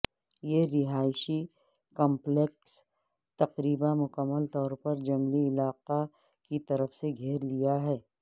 یہ رہائشی کمپلیکس تقریبا مکمل طور پر جنگلی علاقہ کی طرف سے گھیر لیا ہے